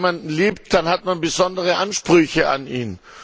Wenn man jemanden liebt, dann hat man besondere Ansprüche an ihn.